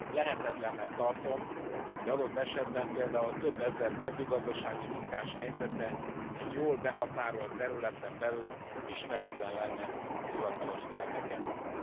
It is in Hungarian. Lehetetlennek tartom, hogy adott esetben például több ezer mezőgazdasági munkás helyzete egy jól behatárolt területen belül ismeretlen lenne a hivatalos szervek előtt.